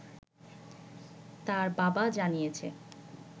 তার বাবা জানিয়েছে